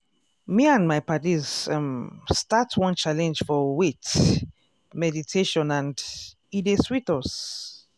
me and my paddies um start one challenge for wait! meditationand e dey sweet us.